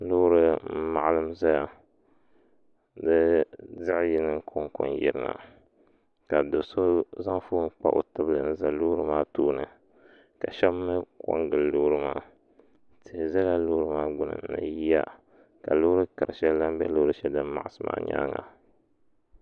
Loori n maɣalim zaya loori zaɣa yini konko n yirina ka do'so zaŋ fooni kpa o tibili n za loori maa tooni ka sheba mee kongili loori maa tihi zala loori maa gbini ni yiya ka loori kari sheli lahi be loori sheli din maɣasi maa nyaanga.